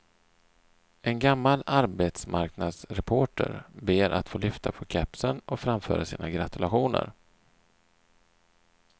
En gammal arbetsmarknadsreporter ber att få lyfta på kepsen och framföra sina gratulationer.